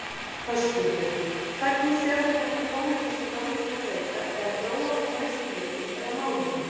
Höskuldur: Hvernig sérðu þetta pólitíska landslag breytast eða þróast á næstu vikum eða mánuðum?